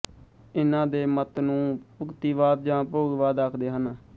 ਇਨ੍ਹਾਂ ਦੇ ਮਤ ਨੂੰ ਭੁਕਤੀਵਾਦ ਜਾਂ ਭੋਗਵਾਦ ਆਖਦੇ ਹਨ